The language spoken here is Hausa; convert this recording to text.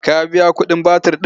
Ka biya kuɗin batir ɗin?